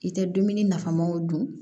I tɛ dumuni nafamaw dun